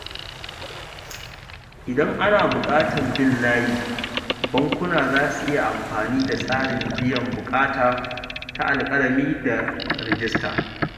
Idan ana buƙatar bin layi, bankuna za su iya amfani da tsarin biyan buƙatu ta alƙalami da rajista.